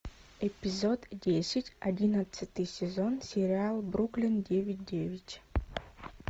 эпизод десять одиннадцатый сезон сериал бруклин девять девять